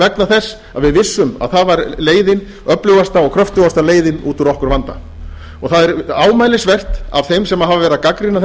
vegna þess að við vissum að það var leiðin öflugasta og kröftugasta leiðin út úr okkar vanda og það er ámælisvert af þeim sem hafa verið